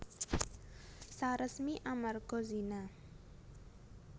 Saresmi amarga zina